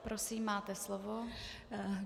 Prosím, máte slovo.